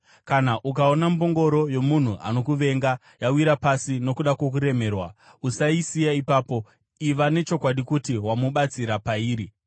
Kana ukaona mbongoro yomunhu anokuvenga yawira pasi nokuda kwokuremerwa, usaisiya ipapo; iva nechokwadi kuti wamubatsira pairi.